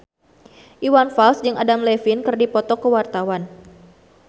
Iwan Fals jeung Adam Levine keur dipoto ku wartawan